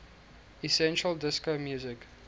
essentially disco music